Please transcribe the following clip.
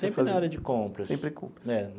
Sempre na área de compras. Sempre compras. É.